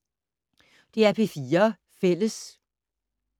DR P4 Fælles